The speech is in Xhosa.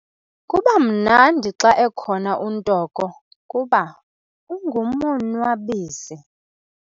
Kuba mnandi xa ekhona uNtoko kuba ungumonwabisi.